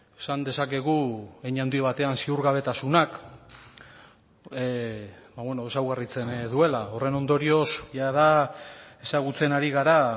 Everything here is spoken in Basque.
esan dezakegu hein handi batean ziurgabetasunak ezaugarritzen duela horren ondorioz jada ezagutzen ari gara